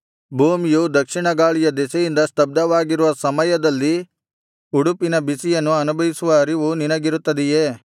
ಭೂಮಿಯು ದಕ್ಷಿಣ ಗಾಳಿಯ ದೆಸೆಯಿಂದ ಸ್ತಬ್ಧವಾಗಿರುವ ಸಮಯದಲ್ಲಿ ಉಡುಪಿನ ಬಿಸಿಯನ್ನು ಅನುಭವಿಸುವ ಅರಿವು ನಿನಗಿರುತ್ತದೆಯೇ